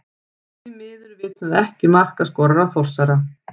Því miður vitum við ekki markaskorara Þórsara.